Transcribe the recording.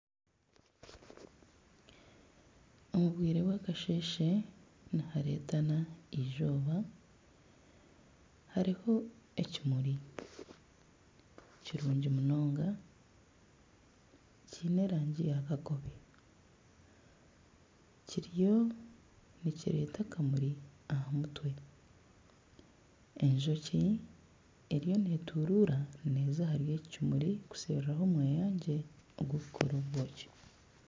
Omu bwire bwakasheshe niharetana izooba hariho ekimuri kirungi munonga kiine erangi ya kakobe kiriyo nikireeta akamuri aha mutwe Enjoki eriyo neturuura neeza ahari eki kimuri kusheruraho omweyangye ogwe kukora obwoki.